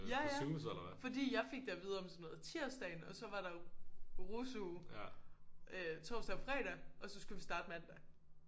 Ja ja fordi jeg fik det at vide om sådan noget tirsdagen og så var der jo rusuge øh torsdag og fredag og så skulle vi starte mandag